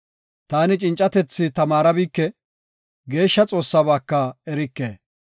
Taani cincatethi tamaarabike; Geeshsha Xoossabaaka erike.